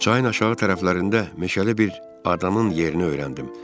Çayın aşağı tərəflərində meşəli bir adamın yerini öyrəndim.